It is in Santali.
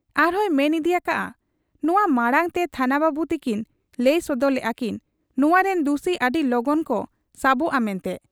ᱟᱨᱦᱚᱸᱭ ᱢᱮᱱ ᱤᱫᱤ ᱭᱟᱠᱟᱜ ᱟ, 'ᱱᱚᱶᱟ ᱢᱟᱬᱟᱝᱛᱮ ᱛᱷᱟᱱᱟ ᱵᱟᱹᱵᱩ ᱛᱤᱠᱤᱱ ᱞᱟᱹᱭ ᱥᱚᱫᱚᱨ ᱞᱮᱜ ᱟ ᱠᱤᱱ ᱱᱚᱣᱟ ᱨᱤᱱ ᱫᱩᱥᱤ ᱟᱹᱰᱤ ᱞᱚᱜᱚᱱ ᱠᱚ ᱥᱟᱵᱚᱜ ᱟ ᱢᱮᱱᱛᱮ ᱾